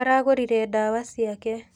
Aragũrire ndawa ciake.